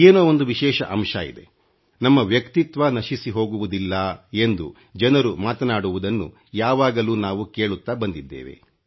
ಏನೋ ಒಂದು ವಿಶೇಷ ಅಂಶ ಇದೆ ನಮ್ಮ ವ್ಯಕ್ತಿತ್ವ ನಶಿಸಿಹೋಗುವುದಿಲ್ಲ ಎಂದು ಜನರು ಮಾತನಾಡುವುದನ್ನು ಯಾವಾಗಲೂ ನಾವು ಕೇಳುತ್ತಾ ಬಂದಿದ್ದೇವೆ